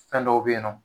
Fɛn dɔw be yen nɔ